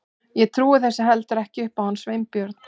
Ég trúi þessu heldur ekki upp á hann Sveinbjörn.